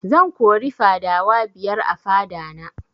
Zan kori fadawa biyar a fada na